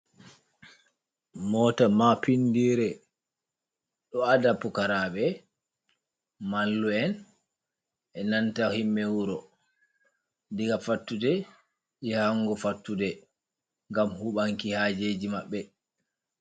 Mota Maapindire: Ɗo ada pukaraɓe, mallu'en, e'nanta himɓe wuro diga fattude yahango fattude ngam huɓanki hajeji maɓɓe.